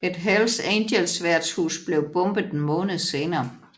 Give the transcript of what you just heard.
Et Hells Angels værtshus blev bombet en måned senere